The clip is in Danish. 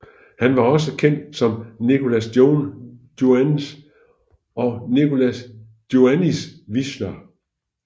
Han var også kendt som Nicolas Joannes og Nicolas Joannis Visscher II